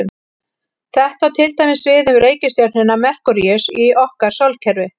Þetta á til dæmis við um reikistjörnuna Merkúríus í okkar sólkerfi.